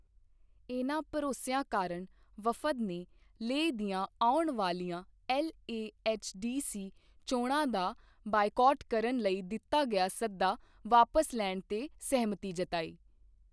ਇਨ੍ਹਾਂ ਭਰੋਸਿਆਂ ਕਾਰਣ ਵਫਦ ਨੇ ਲੇਹ ਦੀਆਂ ਆਉਣ ਵਾਲੀਆਂ ਐਲਏਐਚਡੀਸੀ ਚੋਣਾਂ ਦਾ ਬਾਈਕਾਟ ਕਰਨ ਲਈ ਦਿੱਤਾ ਗਿਆ ਸੱਦਾ ਵਾਪਸ ਲੈਣ ਤੇ ਸਹਿਮਤੀ ਜਤਾਈ।